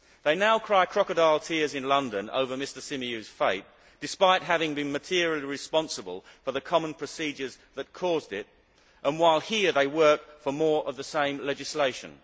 They now cry crocodile tears in London over Mr Symeou's fate despite having been materially responsible for the common procedures that caused it and while here, they work for more of the same legislation.